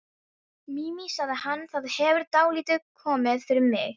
Mimi, sagði hann, það hefur dálítið komið fyrir mig